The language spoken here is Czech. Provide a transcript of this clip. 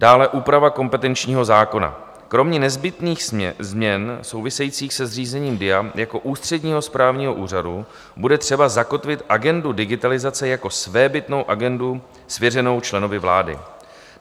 Dále úprava kompetenčního zákona - kromě nezbytných změn souvisejících se zřízením DIA jako ústředního správního úřadu bude třeba zakotvit agendu digitalizace jako svébytnou agendu svěřenou členovi vlády.